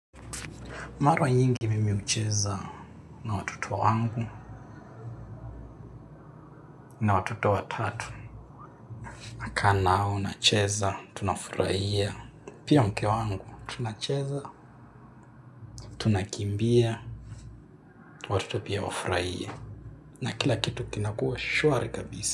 Mara nyingi mimi hucheza na watoto wangu. Na watoto watatu. Nakaa na wao, nacheza, tunafurahia. Pia mke wangu, tunacheza, tunakimbia, watoto pia wafurahie na kila kitu kinakuwa shwari kabisa.